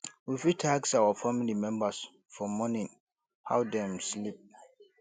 we fit ask our family members for morning how dem sleep